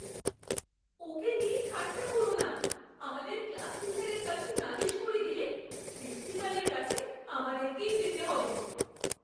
ওকে নিয়ে ঠাট্টা করো না। আমাদের ক্লাস টিচারের কাছে নালিশ করে দিলে প্রিন্সিপালের কাছে আমাদেরকেই যেতে হবে।